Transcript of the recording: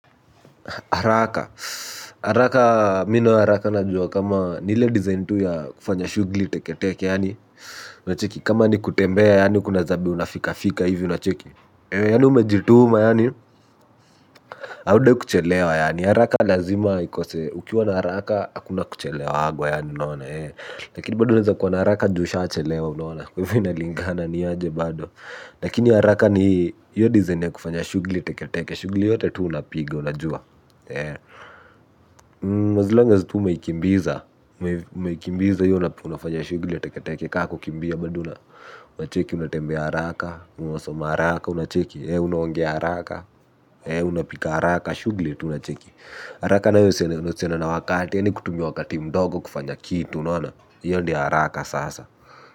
Haraka. Haraka mi na haraka najua kama ni ile design tu ya kufanya shugli teke teke yaani. Kama ni kutembea yaani kuna zabe unafikafika hivi unacheki. Yaani umejituma yaani. Haudai kuchelewa yaani. Haraka lazima ikose. Ukiwa na haraka hakuna kuchelewagwa yaani unaona. Lakini bado unaeza kuwa na haraka ju ushachelewa unaona. Kwa hivyo inalingana ni aje bado. Lakini haraka ni hiyo design ya kufanya shugli teke teke. Shugli yote tu unapiga unajua. As long as tu umeikimbiza umeikimbiza hiyo unafanya shugli ya teketeke ka kukimbia. Bado una unacheki unatembea haraka. Unasoma haraka unacheki. Unaongea haraka. Unapika haraka shugli unacheki. Haraka nayo usiende na wakati yaani kutumia wakati mdogo kufanya kitu unaona hiyo ndio haraka sasa.